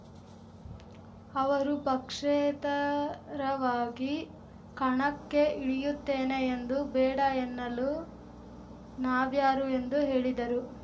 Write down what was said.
ಅವರು ಪಕ್ಷೇತರವಾಗಿ ಕಣಕ್ಕೆ ಇಳಿಯುತ್ತೇನೆ ಎಂದು ಬೇಡ ಎನ್ನಲು ನಾವ್ಯಾರು ಎಂದು ಹೇಳಿದರು